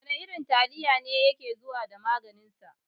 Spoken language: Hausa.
Wana irin taliya ne yake zuwa da magin sa?